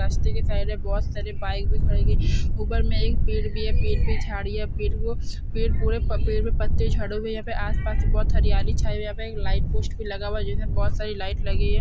बस्ती के साइड है बहुत सारी बाइक दिखाई दे उपर मे एक पेढ भी है पेड़ पे झाड़ी है पेड़ वो पेड़ के पूरे पके हुए पत्ते झड़ हुए है यहाँ पे आस-पास बहुत सारी हरियाली चाय हुई है यहाँ पे एक लाइट पोस्ट भी लगा हुआ है जिनमें बहुत सारी लाइट लगी है ।